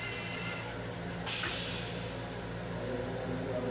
ওহ সেই game এর মধ্যে আরকি আহ একটা আওজ করলে নাকি eco হয়।